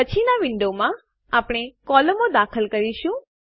પછીનાં વિન્ડોમાં આપણે કોલમો દાખલ કરીશું